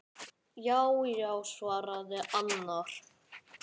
Já já, svaraði annar.